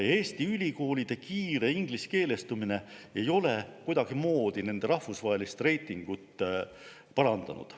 Eesti ülikoolide kiire ingliskeelestumine ei ole nende rahvusvahelist reitingut kuidagimoodi parandanud.